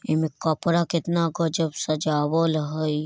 ऐमे कपड़ा कितना गजब सजावल हई ।